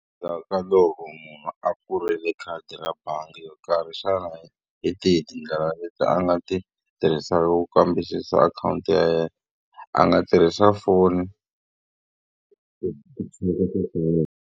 Endzhaku ka loko munhu a pfurile khadi ra bangi yo karhi, xana hi tihi tindlela leti a nga ti tirhisaka ku kambisisa akhawunti ya yena? A nga tirhisa foni .